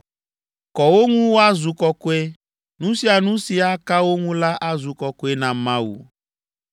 Kɔ wo ŋu woazu kɔkɔe; nu sia nu si aka wo ŋu la azu kɔkɔe na Mawu.